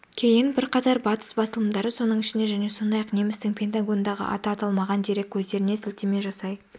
кейін бірқатар батыс басылымдары соның ішінде және сондай-ақ немістің пентагондағы аты аталмаған дерек көздеріне сілтеме жасай